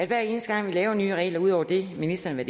hver eneste gang vi laver nye regler ud over det ministeren har